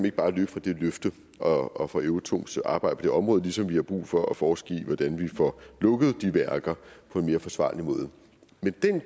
ikke bare løbe fra det løfte og og fra euratoms arbejde på det område ligesom vi har brug for at forske i hvordan vi får lukket de værker på en mere forsvarlig måde men